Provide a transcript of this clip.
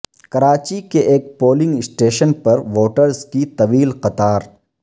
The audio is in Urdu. کراچی کے ایک پولنگ اسٹیشن پر ووٹرز کی طویل قطار